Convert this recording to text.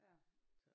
Ja